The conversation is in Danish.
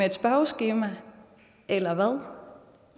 et spørgeskema eller hvad